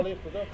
Yaralayıbdı da?